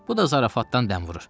Bu da zarafatdan dəmvurur.